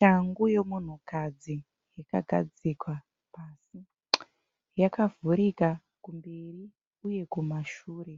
Shangu yomunhukadzi yakagadzikwa. Yakavhurika kumberi uye kumashure